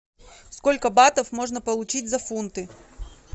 сколько батов можно получить за фунты